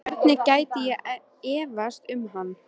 Hvernig gæti ég efast um hann?